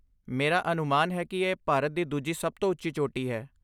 ਮੇਰਾ ਅਨੁਮਾਨ ਹੈ ਕਿ ਇਹ ਭਾਰਤ ਦੀ ਦੂਜੀ ਸਭ ਤੋਂ ਉੱਚੀ ਚੋਟੀ ਹੈ?